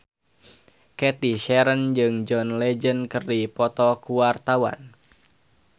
Cathy Sharon jeung John Legend keur dipoto ku wartawan